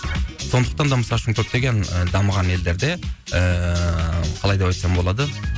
сондықтан да мысалы үшін көптеген і дамыған елдерде ііі қалай деп айтсам болады